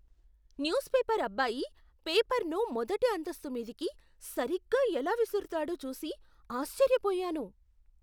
News paper అబ్బాయి పేపర్ను మొదటి అంతస్తు మీదికి సరిగ్గా ఎలా విసురుతాడో చూసి ఆశ్చర్యపోయాను.